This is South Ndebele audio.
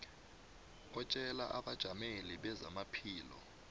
atjele abajameli bezamaphilo